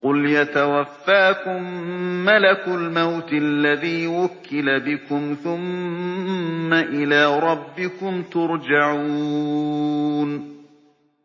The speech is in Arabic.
۞ قُلْ يَتَوَفَّاكُم مَّلَكُ الْمَوْتِ الَّذِي وُكِّلَ بِكُمْ ثُمَّ إِلَىٰ رَبِّكُمْ تُرْجَعُونَ